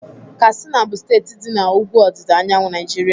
Katsina bụ steeti dị na ugwu ọdịda anyanwụ Naijiria.